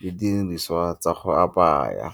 le didiriswa tsa go apaya.